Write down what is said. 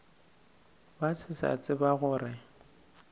ba se sa tseba gore